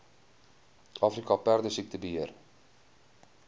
afrika perdesiekte beheer